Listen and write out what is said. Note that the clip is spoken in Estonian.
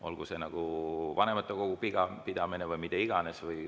Olgu see vanematekogu pidamine või mida iganes.